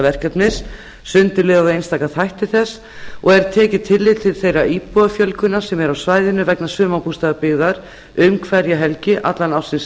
verkefnis sundurliðað á einstaka þætti þess og er tekið tillit til þeirrar íbúafjölgunar sem er á svæðinu vegna sumarbústaðabyggðar um hverja helgi allan ársins